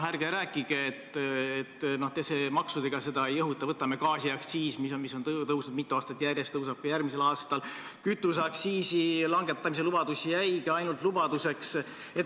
Ärge rääkige, et te maksudega seda ei õhuta – võtame gaasiaktsiisi, mis on tõusnud mitu aastat järjest ja tõuseb ka järgmisel aastal, kütuseaktsiisi langetamise lubadus jäigi ainult lubaduseks.